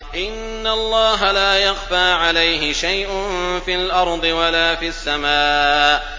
إِنَّ اللَّهَ لَا يَخْفَىٰ عَلَيْهِ شَيْءٌ فِي الْأَرْضِ وَلَا فِي السَّمَاءِ